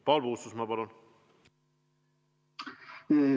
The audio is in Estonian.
Paul Puustusmaa, palun!